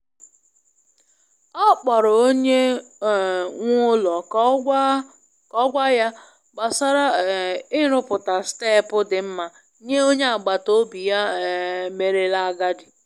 Ọ kpọrọ onye um nwe ụlọ ka ọ gwa ya gbasara um i ruputa steepu dimma nye onye agbata obi ya um merela agadi.